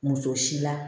Muso si la